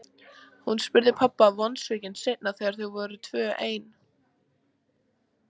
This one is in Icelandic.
spurði hún pabba vonsvikin seinna þegar þau voru tvö ein.